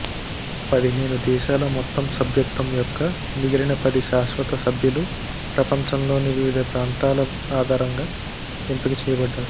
పదిహేను దేశాల మొత్తం సభ్యత్వం యొక్క మిగిలిన పది శాశ్వత సభ్యులు ప్రపంచంలోని వివిధ ప్రాంతాల ఆధారంగా ఎంపిక చేయబడ్డారు